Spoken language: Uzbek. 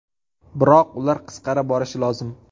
Biroq ular qisqara borishi lozim.